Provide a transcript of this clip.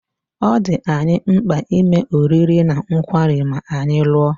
Ọ̀ dị anyị mkpa ime oriri na nkwari ma anyị lụọ?